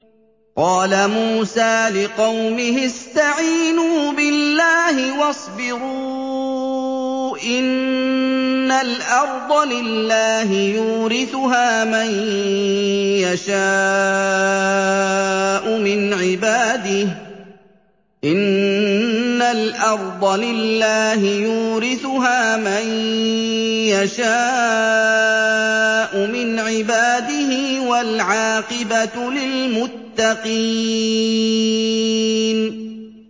قَالَ مُوسَىٰ لِقَوْمِهِ اسْتَعِينُوا بِاللَّهِ وَاصْبِرُوا ۖ إِنَّ الْأَرْضَ لِلَّهِ يُورِثُهَا مَن يَشَاءُ مِنْ عِبَادِهِ ۖ وَالْعَاقِبَةُ لِلْمُتَّقِينَ